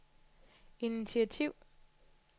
initiativ